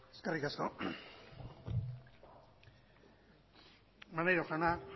eskerrik asko maneiro jauna